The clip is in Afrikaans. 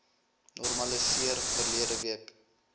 normaliseer verlede week